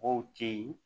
Mɔgɔw te yen